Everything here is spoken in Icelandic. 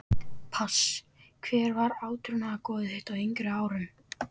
pass Hver var átrúnaðargoð þitt á yngri árum?